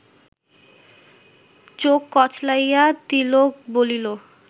চোখ কচলাইয়া তিলক বলিল